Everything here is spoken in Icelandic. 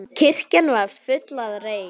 Kirkjan var full af reyk.